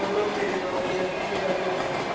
ਮਤਲਬ ਮੇਰੇ ਨਾਲ ਵੀ ਹੋਇਆ ਮੇਰਾ ਵੀ ਇਹਦਾ ਹੀ ਸੀ